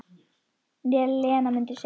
Lena mundi segja.